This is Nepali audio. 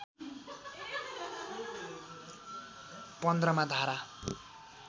१५ मा धारा